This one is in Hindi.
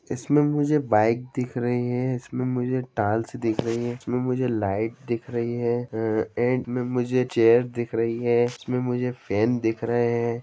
इसमें मुझे बाइक दिख रही है इसमें मुझे टाइल्स दिख रही है इसमें मुझे लाइट दिख रही है ए -एंड में मुझे चेयर्स दिख रही है इसमें मुझे फैन दिख रहे है ।